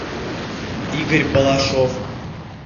игорь балашов